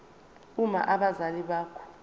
uma abazali bakho